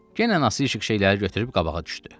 Yenə Nəsihiq şeyləri götürüb qabağa düşdü.